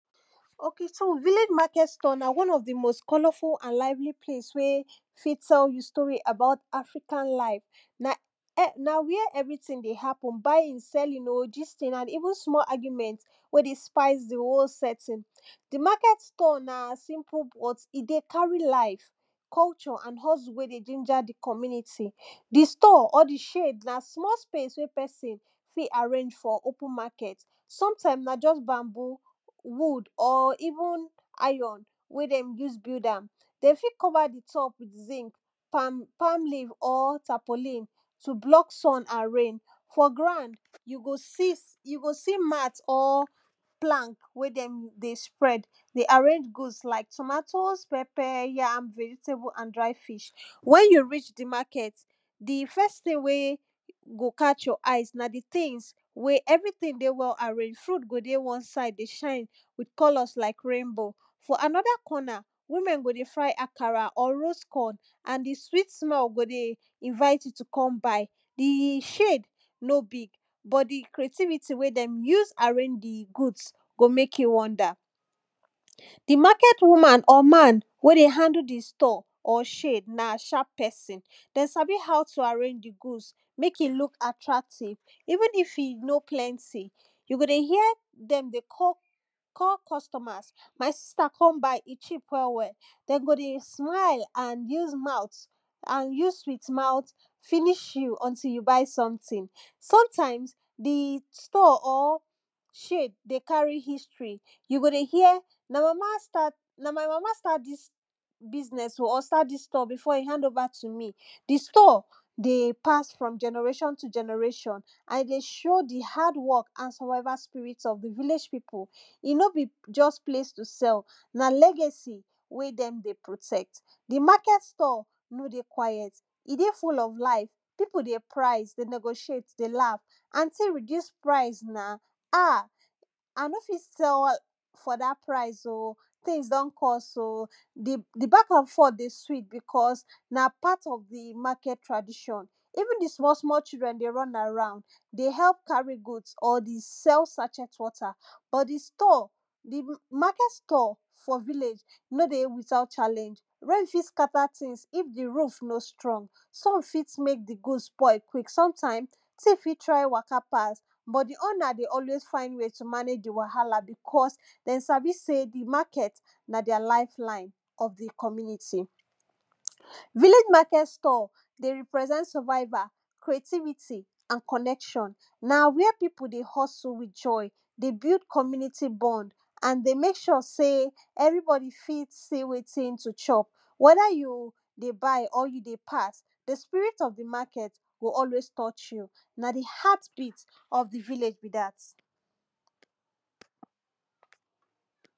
okay so village market store na one of di most colorful and lively place wen fit tell tell you story about African life. na [urn] na where thing dey happen buying, selling oh, gisting and even small argument wey dey spice di whole setting. di market store dey simple but e dey carry life, culture and hustle wen dey ginger di community, di store or di shade na small space wey person fit arrange for open market. sometime na just bamboo, wood or even iron wey dem use build am. dem fit cover di top with zink, palm palm leave or tapolene to block sun and rain. for ground, you go see, you see mat or plank wey dem dey spread dey arrange goods like tomatoes, pepper, yam, vegetables and dried fish. when you reach di market, di first things wey go catch your eyes na di things wey every thing dey well arranged, fruit go dey one side dey shine with colours like rainbow. for another corner, women go dey fry akara or roast corn and di sweet smell go dey invite you to come buy. di shades nor big but di creatibity wen dem use arrange di goods, go make you wonder. di market woman or man wen dey handle di store or shade na sharp person, dem sabi how to arrange di goods make e look attractive. even if e no plenty, you go dey hear dem dey call de call costumers my sister come buy e cheap well well, dem go dey smaile and use mouth and use sweet mouth finish you, until you buy something. sometimes di store or shade dey carry history, go dey hear my mama start na my mama start dis business or start dis store before e hand over to me. di store dey pass from generation to generation and e dey show di hard work and survival spirit of di village people. e no be just place to sell, na legacy when dem dey protect. di market store nor dey quiet, e dey full of life people dey price dey negotiate dey laugh; anty reduce price na, ah! I nor fit sell for dat price oh! things don cost oh! di di back and forth dey sweet because na part of di market tradition, even di small small children dey run around dey help carry goods or dey sell sachet water. or di store di market store for village no dey without challenge, rain fit scatter things if di roof nor strong. sun fit make di goods spoil quick, sometime; thief fit try waka pass, but di owner dey always find way to take manage di wahala because dem sabi sey di market na their life line of di community. village market store dey represent survival, creativity and connection, na where people dey hustle with joy dey build community bond. and dey make sure sey, every body fit see wetin to chop. wether you dey buy or you dey pass di spirit of di market go always touch you. na di heartbeat of di village be dat.